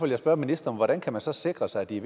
jeg spørge ministeren hvordan kan man så sikre sig at det